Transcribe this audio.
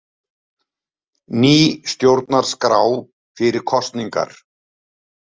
Ný stjórnarskrá fyrir kosningar